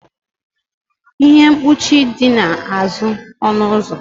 ihe mkpuchi dị n'azụ ọnụ ụzọ